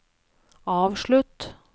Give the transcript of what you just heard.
avslutt